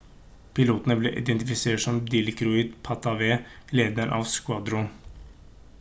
piloten ble identifisert som dilokrit pattavee lederen av squadron